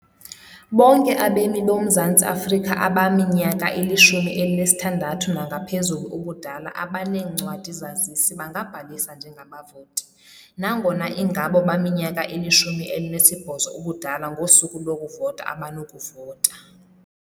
Bonke abemi boMzantsi Afrika abaminyaka ili-16 nangaphezulu ubudala abaneencwadi-zazisi bangabhalisa njengabavoti, nangona ingabo baminyaka ili-18 ubudala ngosuku lokuvota abanokuvota.